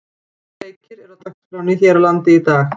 Fimm leikir eru á dagskránni hér á landi í dag.